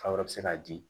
Fa wɛrɛ bɛ se k'a di